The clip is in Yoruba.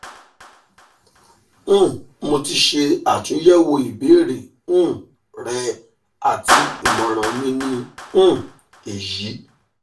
um mo ti ṣe atunyẹwo ibeere um rẹ ati imọran mi ni um eyi